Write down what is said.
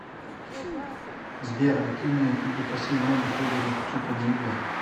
сбер активный или пассивный отдых выберет чупина юлия